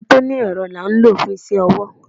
kẹkẹ tí oní erò la n lo fun iṣẹ ọwọ.